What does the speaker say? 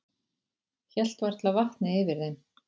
Hélt varla vatni yfir þeim.